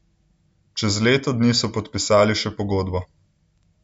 Čez leto dni so podpisali še pogodbo.